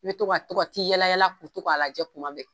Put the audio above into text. I be to ka to ka t'i yala yalako to k'a lajɛ kumabɛ